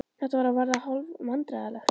Þetta var að verða hálf vandræðalegt.